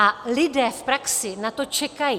A lidé v praxi na to čekají.